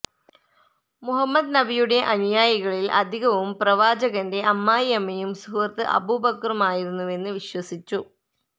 മുഹമ്മദ് നബിയുടെ അനുയായികളിൽ അധികവും പ്രവാചകന്റെ അമ്മായിയമ്മയും സുഹൃത്ത് അബൂബക്കറുമായിരുന്നുവെന്ന് വിശ്വസിച്ചു